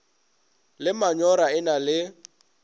le manyora e na le